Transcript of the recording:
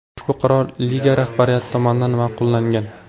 Ushbu qaror liga rahbariyati tomonidan ma’qullangan.